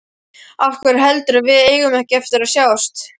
Af hverju heldurðu að við eigum ekki eftir að sjást?